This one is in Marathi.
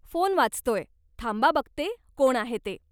फोन वाजतोय, थांबा बघते कोण आहे ते.